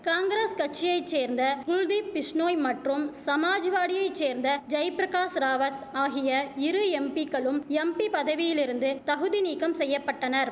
காங்கிரஸ் கட்சியை சேர்ந்த குல்தீப் பிஷ்ணோய் மற்றும் சமாஜ்வாடியை சேர்ந்த ஜெய்பிரகாஷ் ராவத் ஆகிய இரு எம்பிக்களும் எம்பி பதவியிலிருந்து தகுதிநீக்கம் செய்ய பட்டனர்